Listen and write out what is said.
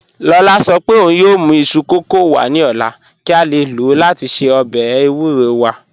Lọla sọ̀ pẹ̀ ọ̀un yoo mù isu kọkọ wa ni ọla ki a le lọ lati ṣe ọbẹ̀ ewúrò wa